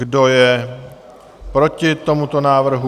Kdo je proti tomuto návrhu?